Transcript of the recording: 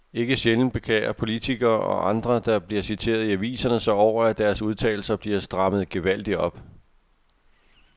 Ikke sjældent beklager politikere og andre, der bliver citeret i aviserne sig over, at deres udtalelser bliver strammet gevaldigt op.